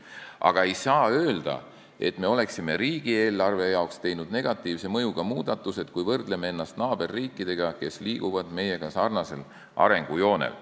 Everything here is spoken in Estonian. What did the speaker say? Aga ei saa öelda, et me oleksime riigieelarve jaoks teinud negatiivse mõjuga muudatusi, kui võrdleme ennast naaberriikidega, kes liiguvad meiega sarnasel arengujoonel.